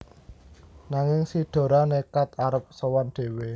Nanging si Dora nékad arep sowan dhéwé